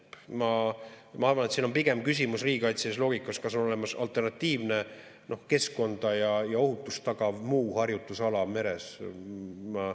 Ma arvan, et siin on pigem küsimus riigikaitselises loogikas selles, kas on olemas alternatiivne keskkonda ja ohutust tagav muu harjutusala meres.